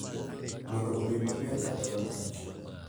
Mondo obed maber kata marach.